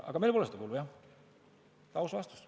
Aga meil pole teada seda kulu, jah, see on aus vastus.